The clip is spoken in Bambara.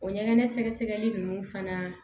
O ɲɛgɛn sɛgɛsɛgɛli nunnu fana